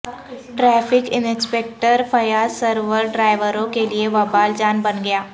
traffic inspector Fayyaz Sarwar ڈرائیوروں کیلئے وبال جان بن گیا